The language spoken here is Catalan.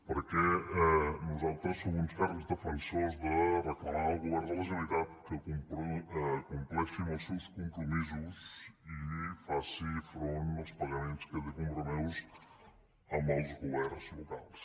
perquè nosaltres som uns ferms defensors de reclamar al govern de la generalitat que compleixi amb els seus compromisos i faci front als pagaments que té compromesos amb els governs locals